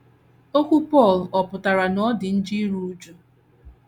Okwu Pọl ọ̀ pụtara na ọ dị njọ iru újú?